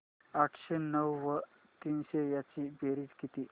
आठशे नऊ व तीनशे यांची बेरीज किती